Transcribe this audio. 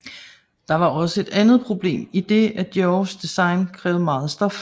Der var også et andet problem idet at Diors design krævede meget stof